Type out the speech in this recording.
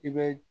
I bɛ